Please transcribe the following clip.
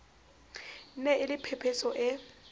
ne e le phephetso e